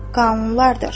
qanunlardır.